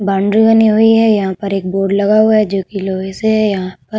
Boundary बनी हुई है। यहाँ पर एक बोर्ड लगा हुआ है जो कि लोहे से है। यहाँ पर --